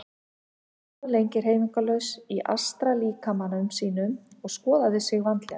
Hann stóð lengi hreyfingarlaus í astrallíkama sínum og skoðaði sig vandlega.